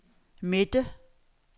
midte